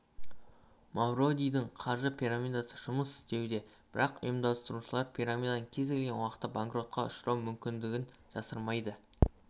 мавродидің қаржы пирамидасы жұмыс істеуде бірақ ұйымдастырушылар пирамиданың кез келген уақытта банкротқа ұшырау мүмкіндігін жасырмайды